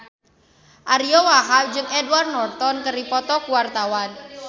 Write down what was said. Ariyo Wahab jeung Edward Norton keur dipoto ku wartawan